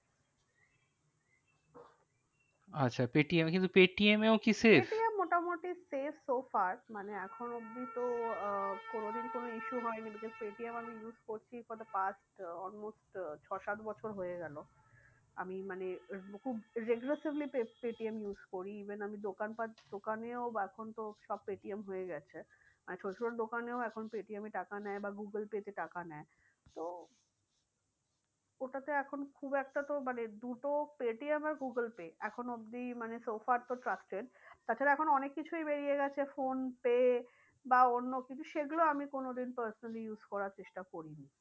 ওটাতে এখন খুব একটা তো মানে দুটো পেটিএম আর গুগল পে এখনো অবধি মানে trusted তাছাড়া এখন অনেক কিছুই বেরিয়ে গেছে ফোন পে বা অন্য কিন্তু সেগুলো আমি কোনো দিন personally use করার চেষ্টা করিনি।